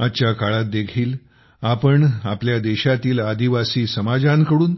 आजच्या काळात देखील आपण आपल्या देशातील आदिवासी समाजांकडून